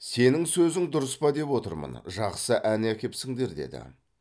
сенің сөзің дұрыс па деп отырмын жақсы ән әкепсіңдер деді